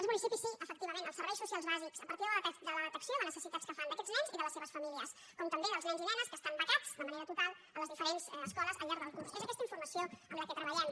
els municipis sí efectivament els serveis socials bàsics a partir de la detecció de necessitats que fan d’aquests nens i de les seves famílies com també dels nens i ne·nes que estan becats de manera total a les diferents es·coles al llarg del curs és amb aquesta informació amb la que treballem